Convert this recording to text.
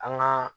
An gaa